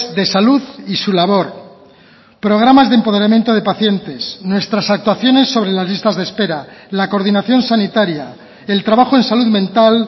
de salud y su labor programas de empoderamiento de pacientes nuestras actuaciones sobre las listas de espera la coordinación sanitaria el trabajo en salud mental